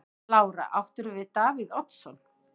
Lára: Áttirðu við Davíð Oddsson?